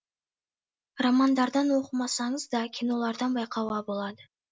романдардан оқымасаңыз да кинолардан байқауға болады